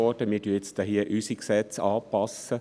Wir passen hier nun unsere Gesetze an.